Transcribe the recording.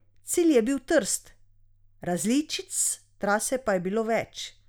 Cilj je bil Trst, različic trase pa je bilo več.